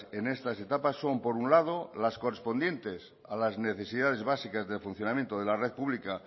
en estas etapas son por un lado las correspondientes a las necesidades básicas de funcionamiento de la red pública